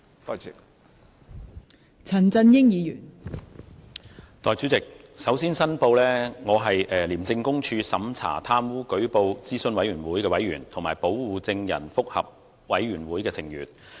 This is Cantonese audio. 代理主席，首先申報，我是廉署審查貪污舉報諮詢委員會委員及保護證人覆核委員會成員。